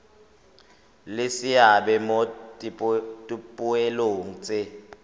le seabe mo dipoelong tse